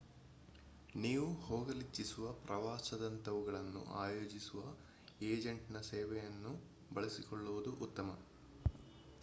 ನೀವು ಹೋಗಲಿಚ್ಚಿಸುವ ಪ್ರವಾಸದಂತವುಗಳನ್ನು ಆಯೋಜಿಸುವ ಎಜಂಟ್‌ನ ಸೇವೆಯನ್ನು ಬಳಸಿಕೊಳ್ಳುವುದು ಉತ್ತಮ